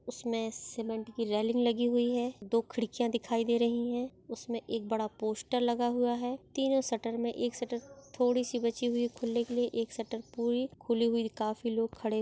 उसमे सीमेंट की रेलिंग लगी हुई है। दो खिड़किया दिखाई दे रही है। उसमे एक बड़ा पोस्टर लगा हुआ है। तीनों शटर मे एक शटर थोड़ी सी बची हुई खुलने के लिए एक शटर पूरी खुली हुई काफी लोग खड़े--